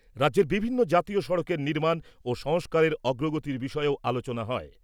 রাজ্যের বিভিন্ন জাতীয় সড়কের নির্মাণ ও সংস্কারের অগ্রগতির বিষয়েও আলোচনা হয়।